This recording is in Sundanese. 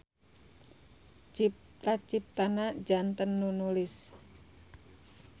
Cipta-ciptana janten nu nulis.